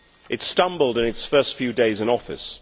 It stumbled in its first few days in office.